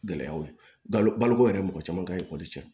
Gɛlɛyaw ye baloko yɛrɛ mɔgɔ caman ka ekɔli cɛn